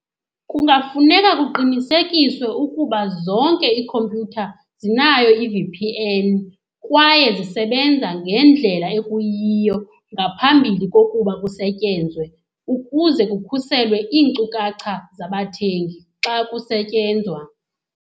Kungafuneka kuqinisekiswe ukuba zonke iikhompyutha zinayo i-V_P_N kwaye zisebenza ngendlela ekuyiyo ngaphambili kokuba kusetyenzwe ukuze kukhuselwe iinkcukacha zabathengi xa kusetyenzwa.